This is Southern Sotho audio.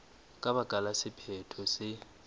ka baka la sephetho se